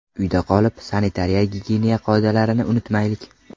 Uyda qolib, sanitariya-gigiyena qoidalarini unutmaylik!